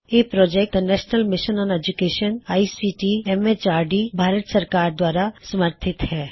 ਇਹ project the national mission on education ICT MHRD Bharat ਸਰਕਾਰ ਦੁਆਰਾ ਸਮਰਥਿਤ ਹੈ